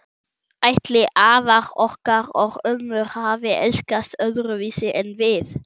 Ætli afar okkar og ömmur hafi elskast öðruvísi en við?